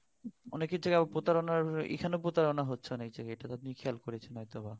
অনেকে আবার প্রতারনা এখানে প্রতারনা হচ্ছে অনেক যায়গায় এটা তো আপনি খেয়াল করেছেন হয়তোবা